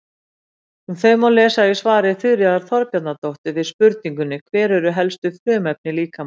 Um þau má lesa í svari Þuríðar Þorbjarnardóttur við spurningunni Hver eru helstu frumefni líkamans?